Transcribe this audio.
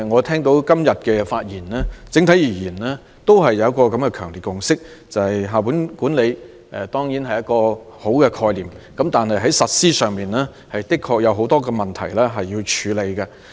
聽罷今天的發言，我認為整體而言，大家都有一個強烈的共識，就是校本管理固然是很好的概念，但在實施方面確有很多問題要處理。